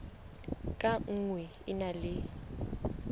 ka nngwe e na le